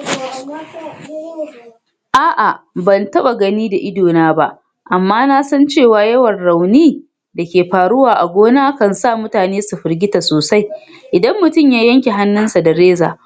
Lokacin bikin Mauludi, an yi wa’azi tare da karanta waƙoƙin yabon Manzon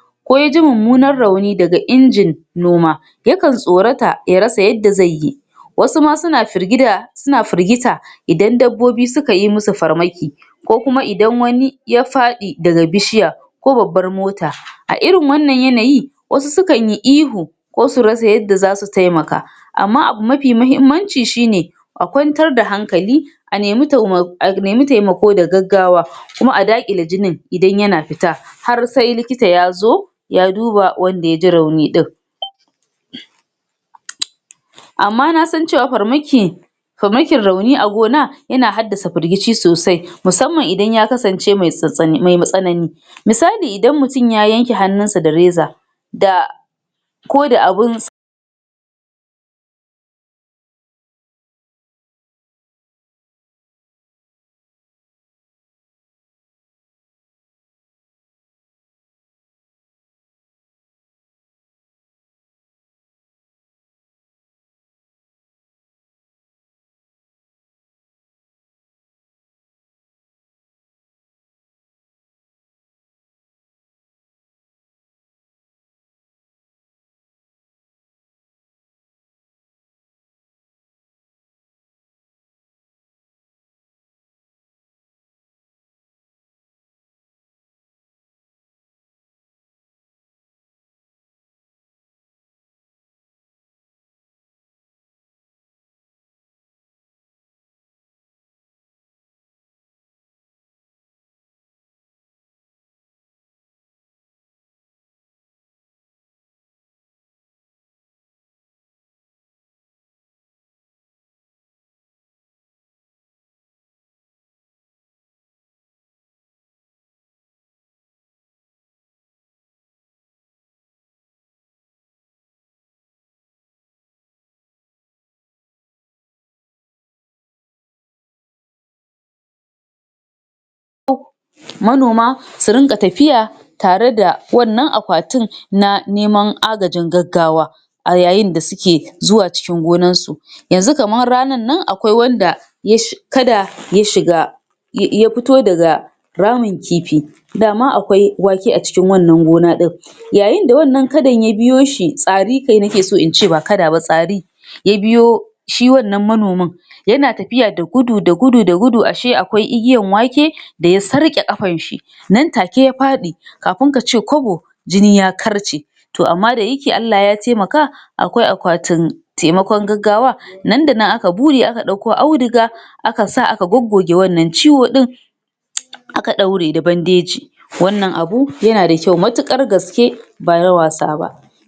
Allah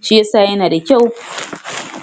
(SAW)